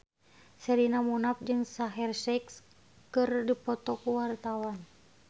Sherina Munaf jeung Shaheer Sheikh keur dipoto ku wartawan